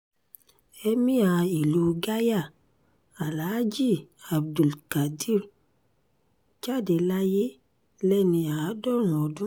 èmia ìlú gaya alaají abdulkadir jáde láyé lẹ́ni àádọ́rùn-ún ọdún